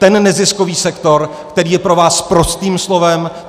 Ten neziskový sektor, který je pro vás sprostým slovem.